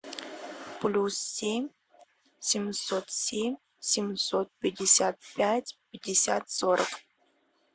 плюс семь семьсот семь семьсот пятьдесят пять пятьдесят сорок